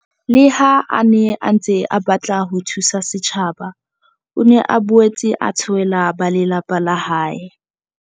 Le ha a ne a ntse a batla ho thusa setjhaba, o ne a boetse a tshohela ba lelapa la hae.